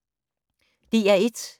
DR1